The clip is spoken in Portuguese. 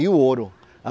E o ouro.